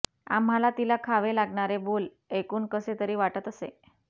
आम्हाला तिला खावे लागणारे बोल ऐकून कसे तरी वाटत असे